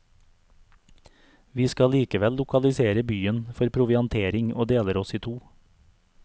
Vi skal likevel lokalisere byen for proviantering og deler oss i to.